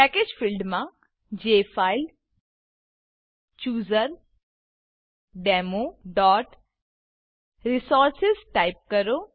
package field package field માં jfilechooserdemoરિસોર્સિસ type કરો